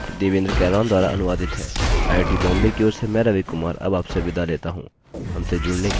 यह स्क्रिप्ट देवेन्द्र कैरवान द्वारा अनुवादित है आईआईटी बॉम्बे की ओर से मैं रवि कुमार अब आपसे विदा लेता हूँ